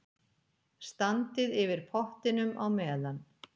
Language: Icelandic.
Standið yfir pottinum á meðan.